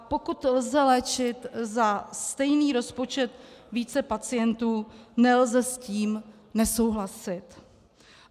A pokud lze léčit za stejný rozpočet více pacientů, nelze s tím nesouhlasit.